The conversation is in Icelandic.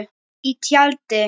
Í tjaldi.